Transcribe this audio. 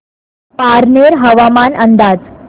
पारनेर हवामान अंदाज